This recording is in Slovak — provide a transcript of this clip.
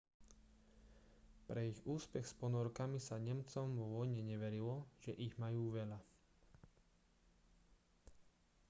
pre ich úspech s ponorkami sa nemcom po vojne neverilo že ich majú veľa